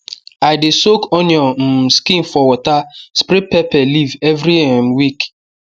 i dey soak onion um skin for water spray pepper leaf every um week